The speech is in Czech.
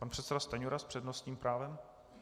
Pan předseda Stanjura s přednostním právem.